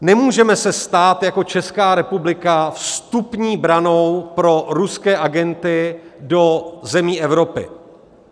Nemůžeme se stát jako Česká republika vstupní branou pro ruské agenty do zemí Evropy.